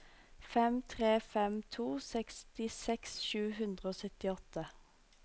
fem tre fem to sekstiseks sju hundre og syttiåtte